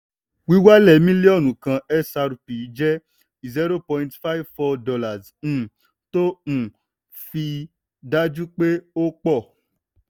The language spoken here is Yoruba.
wíwálẹ̀ mílíọnù kan xrp jẹ́ zero point five four dollars um tó um fi dájú pé ó pọ̀.